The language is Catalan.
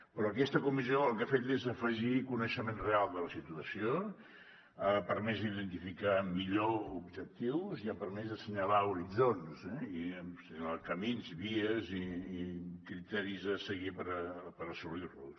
però aquesta comissió el que ha fet és afegir coneixement real de la situació ha permès identificar millor objectius i ha permès assenyalar horitzons assenyalar camins vies i criteris a seguir per assolir los